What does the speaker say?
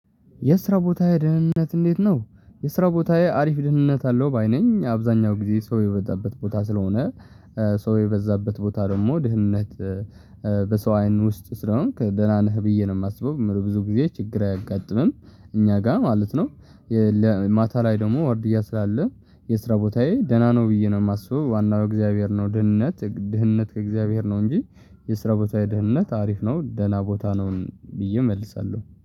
የስራ ቦታዬ ደህንነት እንዴት ነው? የስራ ቦታዬ አሪፍ ደህንነት አለው ባይ ነኝ አብዛኛው ጊዜ ሰው የበዛበት ቦታ ስለሆነ። ሰው የበዛበት ቦታ ደግሞ ደህነት። በሰው አይን ውስጥ ስለሆንክ ደህና ነህ ብዬ ነው የማስበው ብዙ ጊዜ ችግር አያጋጥምም እኛ ጋር ማለት ነው። ማታ ላይ ደግሞ አርድያ ስላለ። የስራ ቦታዬ ደህና ነው ብዬ ነው የማስበው ዋናው የእግዚአብሔር ነው ደህነት ድህነት ከእግዚአብሔር ነው እንጂ። የስራ ቦታ የደህንነት አሪፍ ነው ደህና ቦታ ነው ብዬ እመልሳለሁ